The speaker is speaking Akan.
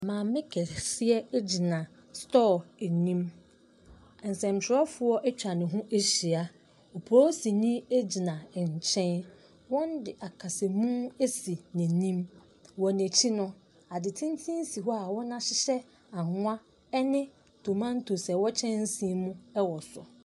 Maame kɛseɛ gyina store anim. Nsɛntwerɛfoɔ atwa ne ho ahyia. Polisini gyina nkyɛn. Wɔde akasamu asi n'anim. Wɔ n'akyi no, ade tenten si hɔ a wɔahyehyɛ anwa ne tomantos a ɛwɔ kyɛnse mu wɔ so.